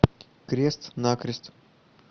крест накрест